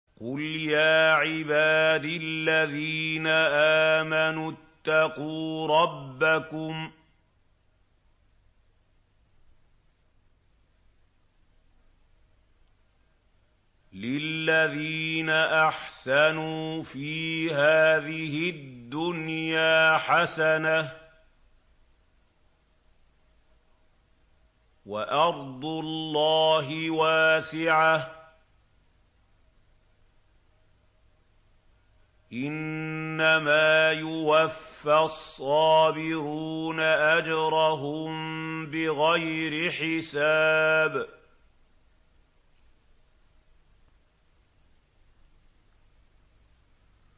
قُلْ يَا عِبَادِ الَّذِينَ آمَنُوا اتَّقُوا رَبَّكُمْ ۚ لِلَّذِينَ أَحْسَنُوا فِي هَٰذِهِ الدُّنْيَا حَسَنَةٌ ۗ وَأَرْضُ اللَّهِ وَاسِعَةٌ ۗ إِنَّمَا يُوَفَّى الصَّابِرُونَ أَجْرَهُم بِغَيْرِ حِسَابٍ